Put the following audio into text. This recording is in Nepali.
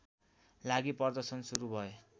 लागि प्रदर्शन सुरु भए